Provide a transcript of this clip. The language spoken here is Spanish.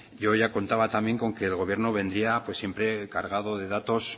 yo ya contaba también con que el gobierno vendría siempre cargado de datos